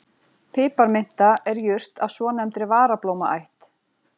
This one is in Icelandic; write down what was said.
Piparminta er jurt af svonefndri varablómaætt.